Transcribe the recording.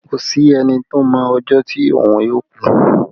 Kò sí ẹni tó mọ ọjọ́ tí òun yóò ku